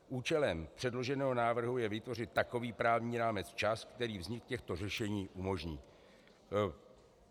Účelem předloženého návrhu je vytvořit takový právní rámec včas, který vznik těchto řešení umožní.